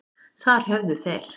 Þar höfðu þeir